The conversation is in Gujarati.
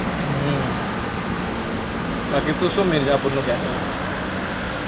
હમ બાકી તુ શુ મિરઝાપુરનું કેતો તો?